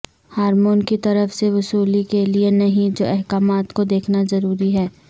hormone کی طرف سے وصولی کے لئے نہیں جو احکامات کو دیکھنا ضروری ہے